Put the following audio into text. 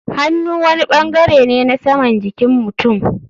Hannu wani bangare ne na saman jikin mutum.